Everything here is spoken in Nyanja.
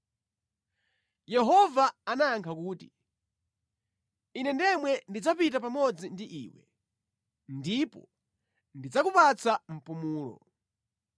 Yehova anayankha kuti, “Ine ndemwe ndidzapita pamodzi ndi iwe, ndipo ndidzakupatsa mpumulo.”